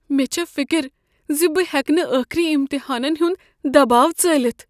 مےٚ چھےٚ فکر ز بہٕ ہیكہٕ نہٕ ٲخری امتحانن ہنٛد دباو ژٲلِتھ ۔